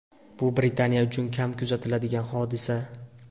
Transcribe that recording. Bu Britaniya uchun kam kuzatiladigan hodisa.